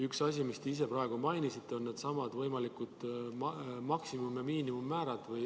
Üks asi, mida te ise praegu mainisite, on needsamad võimalikud maksimum- ja miinimummäärad.